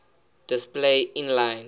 display inline